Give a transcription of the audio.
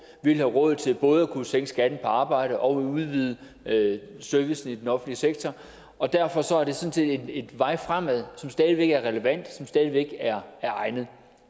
vil have råd til både at kunne sænke skatten på arbejde og udvide servicen i den offentlige sektor og derfor sådan set en vej fremad som stadig væk er relevant og som stadig væk er egnet